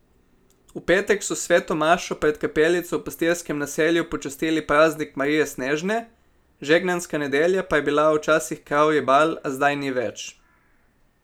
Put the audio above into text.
V petek so s sveto mašo pred kapelico v pastirskem naselju počastili praznik Marije Snežne, žegnanska nedelja pa je bila včasih kravji bal, a zdaj ni več.